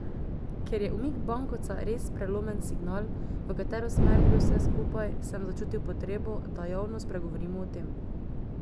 Ker je umik bankovca res prelomen signal, v katero smer gre vse skupaj, sem začutil potrebo, da javno spregovorim o tem.